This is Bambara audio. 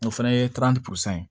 O fɛnɛ ye porozɛ